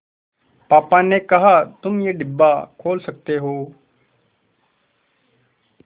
पापा ने कहा तुम ये डिब्बा खोल सकते हो